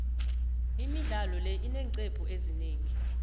imidlalo le ineeqcephu ezinengi